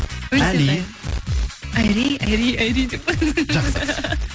әли айри айри айри деп жақсы